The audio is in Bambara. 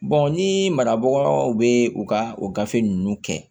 ni marabagaw be u ka o gafe ninnu kɛ